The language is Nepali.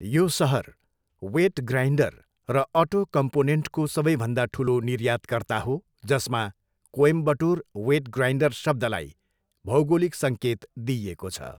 यो सहर वेट ग्राइन्डर र अटो कम्पोनेन्टको सबैभन्दा ठुलो निर्यातकर्ता हो जसमा कोइम्बटोर वेट ग्राइन्डर शब्दलाई भौगोलिक सङ्केत दिइएको छ।